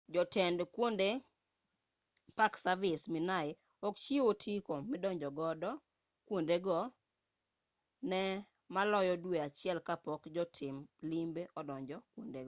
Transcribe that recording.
jotend kuonde park service minae ok chiw otiko midonjogo kuondego ne maloyo dwe achiel kapok jotim limbe odonjo kuondego